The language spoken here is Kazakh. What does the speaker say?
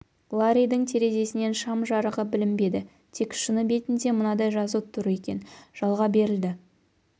ларридің терезесінен шам жарығы білінбеді тек шыны бетінде мынадай жазу тұр екен жалға берілді